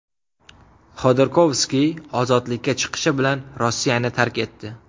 Xodorkovskiy ozodlikka chiqishi bilan Rossiyani tark etdi.